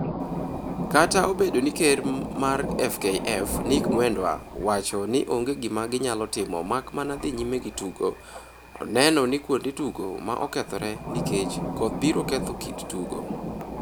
Kata obedo ni ker mar FKF Nick Mwendwa wacho ni onge gima ginyalo timo mak mana dhi nyime gi tugo, oneno ni kuonde tugo ma okethore nikech koth biro ketho kit tugo.